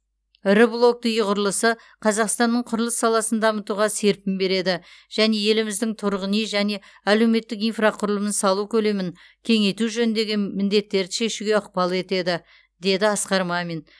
ірі блокты үй құрылысы қазақстанның құрылыс саласын дамытуға серпін береді және еліміздің тұрғын үй және әлеуметтік инфрақұрылымын салу көлемін кеңейту жөніндегі міндеттерді шешуге ықпал етеді деді асқар мамин